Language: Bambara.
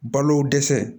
Balo dɛsɛ